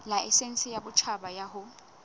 laesense ya boditjhaba ya ho